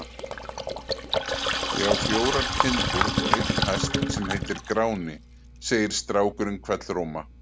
Ég á fjórar kindur og einn hest sem heitir Gráni, segir strákurinn hvellróma.